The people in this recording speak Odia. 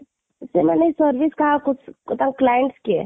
ତ ସେମାନେ service କାହାକୁ ତା client କିଏ ?